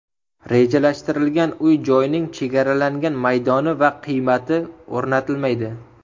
Rejalashtirilgan uy-joyning chegaralangan maydoni va qiymati o‘rnatilmaydi.